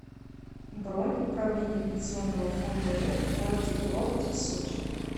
бронь управление пенсионного фонда рф в городе курорте сочи